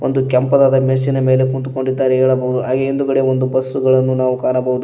ಒಂದು ಕೆಂಪದಾದ ಮೆಸ್ಸಿನ ಮೇಲೆ ಕುಂತುಕೊಂಡಿದ್ದಾರೆ ಹೇಳಬೋದು ಹಾಗೆ ಹಿಂದುಗಡೆ ಒಂದು ಬಸ್ಸುಗಳನ್ನು ನಾವು ಕಾಣಬಹುದು.